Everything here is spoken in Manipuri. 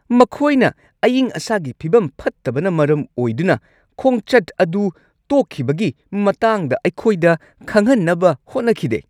ꯃꯈꯣꯏꯅ ꯑꯏꯪ ꯑꯁꯥꯒꯤ ꯐꯤꯕꯝ ꯐꯠꯇꯕꯅ ꯃꯔꯝ ꯑꯣꯏꯗꯨꯅ ꯈꯣꯡꯆꯠ ꯑꯗꯨ ꯇꯣꯛꯈꯤꯕꯒꯤ ꯃꯇꯥꯡꯗ ꯑꯩꯈꯣꯏꯗ ꯈꯪꯍꯟꯅꯕ ꯍꯣꯠꯅꯈꯤꯗꯦ꯫